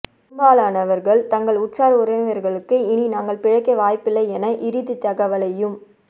பெரும்பாலானவர்கள் தங்கள் உற்றார் உறவினர்களுக்கு இனி நாங்கள் பிழைக்க வாய்ப்பில்லை என இறுதி தகவலையும்